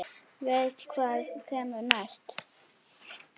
Veit hvað kemur næst.